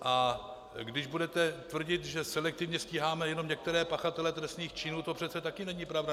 A když budete tvrdit, že selektivně stíháme jenom některé pachatele trestných činů, to přece také není pravda.